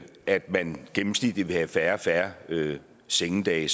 at man gennemsnitligt vil have færre og færre sengedage